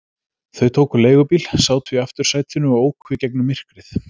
Þau tóku leigubíl, sátu í aftursætinu og óku í gegnum myrkrið.